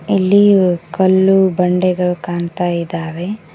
ಇಲ್ಲಿ ಕಲ್ಲು ಬಂಡೆಗಳು ಕಾಣ್ತಾ ಇದ್ದಾವೆ.